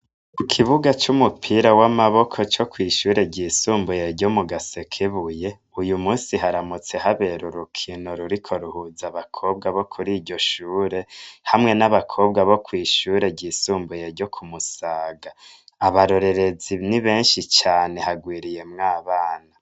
Ikibuga cumupira wamaboko cokwishure ryisumbuye ryo mu gasekebuye uyumusi haramutse habera urukino ruriko ruhuza abakobwa bokuri iryoshure hamwe nabakobwa bokwishure ryisumbuye ryo ku musaga abarorerezi nibenshi cane harwiriyemwo abana